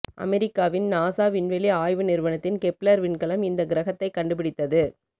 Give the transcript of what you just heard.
அமெரிக்காவின் நாசா விண்வெளி ஆய்வு நிறுவனத்தின் கெப்லர் விண்கலம் இந்த கிரகத்தை கண்டுபிடித்தது